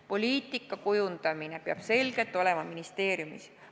Poliitika kujundamine peab selgelt olema ministeeriumi pädevuses.